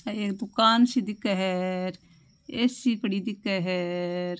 आ एक दुकान सी दिखे है र ए.सी पड़ी दिखे है र।